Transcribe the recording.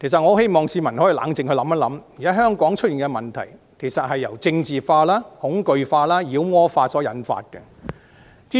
我希望市民可以冷靜下來想一想，現時香港出現的問題，其實是政治化、恐懼化、妖魔化所造成的。